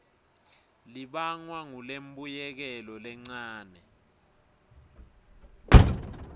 libangwa ngulembuyekelo lencane